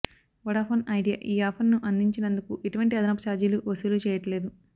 Vodafone Idea ఈ offer ను అందించినందుకు ఎటువంటి అదనపు చార్జీలూ వసూలు చేయట్లేదు